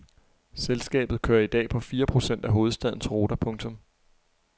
Selskabet kører i dag på fire procent af hovedstadens ruter. punktum